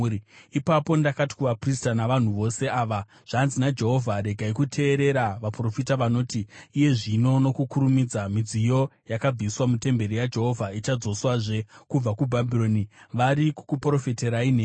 Ipapo ndakati kuvaprista navanhu vose ava, “Zvanzi naJehovha: Regai kuteerera vaprofita vanoti, ‘Iye zvino, nokukurumidza, midziyo yakabviswa mutemberi yaJehovha ichadzoswazve kubva kuBhabhironi.’ Vari kukuprofitirai nhema.